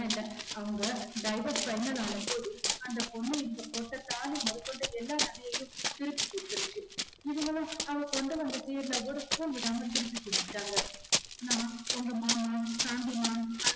அவங்க divorce final ஆனபோது அந்த பொண்ணு இவங்க போட்ட தாலி மொதக்கொண்டு எல்லா நகையையும் திருப்பி குடுத்துடுச்சு இவங்களும் அவ கொண்டுவந்த சீர்ல ஒரு சீர் விடாம திரும்பி குடுத்துட்டாங்க நான் உங்க மாமா சாந்திமா